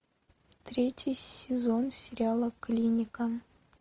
третий сезон сериала клиника